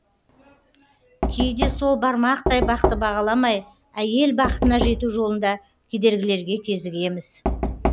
кейде сол бармақтай бақты бағаламай әйел бақытына жету жолында кедергілерге кезігеміз